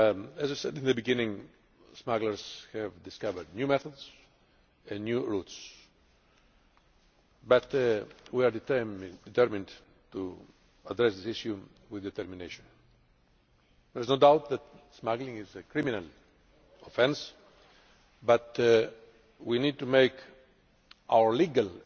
As I said at the beginning, smugglers have discovered new methods and new routes, but we are determined to address this issue with determination. There is no doubt that smuggling is a criminal offence, but we need to make our legal